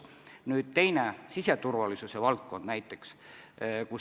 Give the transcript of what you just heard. Nüüd teine, siseturvalisuse valdkond.